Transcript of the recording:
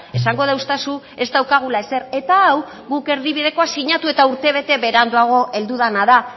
esango deustazu ez daukagula ezer eta hau guk erdibidekoa sinatu eta urtebete beranduago heldu dena da